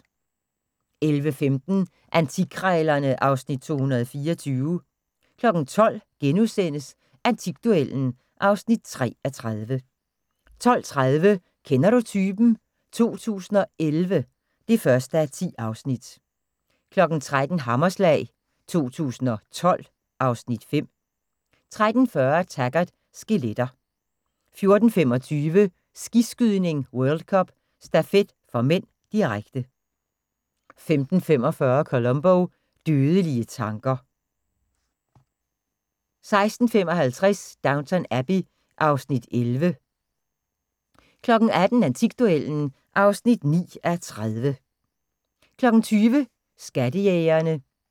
11:15: Antikkrejlerne (Afs. 224) 12:00: Antikduellen (3:30)* 12:30: Kender du typen? 2011 (1:10) 13:00: Hammerslag 2012 (Afs. 5) 13:40: Taggart: Skeletter 14:25: Skiskydning: World Cup - stafet (m), direkte 15:45: Columbo: Dødelige tanker 16:55: Downton Abbey (Afs. 11) 18:00: Antikduellen (9:30) 20:00: Skattejægerne